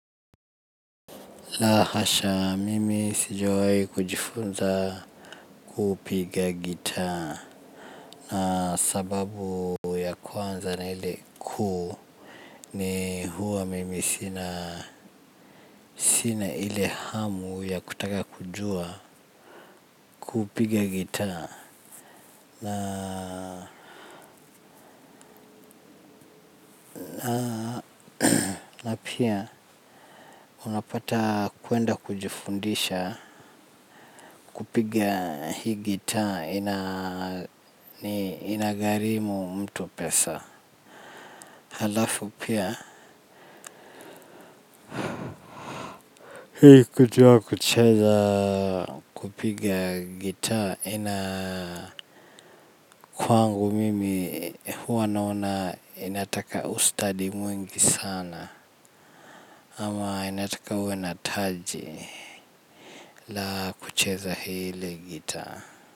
La hasha mimi sijawai kujifunza kupiga gitaa na sababu ya kwanza na ile kuu ni huwa mimi sina sina ile hamu ya kutaka kujua kupiga gitaa na na pia unapata kuenda kujifundisha kupiga hii gitaa inani inagharimu mtu pesa halafu pia hii kujua kucheza kupiga gitaa ina kwangu mimi huwa naona inataka ustadi mwingi sana ama inataka uwe na taji la kucheza hili gitaa.